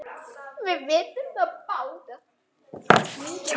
Við vitum það báðar.